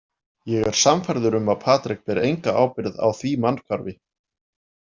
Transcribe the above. Ég er sannfærður um að Patrik ber enga ábyrgð á því mannshvarfi.